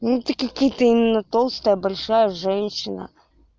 ну такие какие-то именно толстая большая женщина